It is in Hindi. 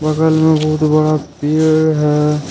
बगल में बहुत बड़ा पेड़ है।